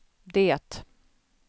det